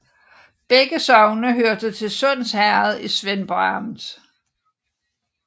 Begge sogne hørte til Sunds Herred i Svendborg Amt